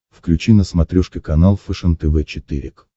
включи на смотрешке канал фэшен тв четыре к